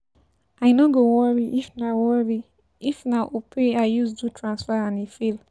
I no go worry if na worry if na Opay I use do transfer and e fail.